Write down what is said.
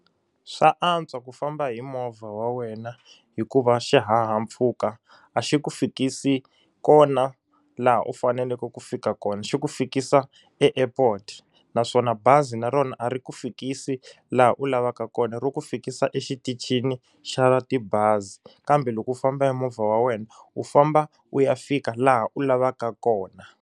Swa antswa ku famba hi movha wa wena hikuva xihahampfhuka a xi ku fikisi kona laha u faneleke ku fika kona xi ku fikisa eAirport naswona bazi na rona a ri ku fikisi laha u lavaka kona ri ku fikisa exitichini xa tibazi kambe loko u famba hi movha wa wena u famba u ya fika laha u lavaka kona.